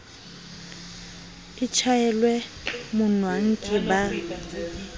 e tjhaelwe monwang ke ba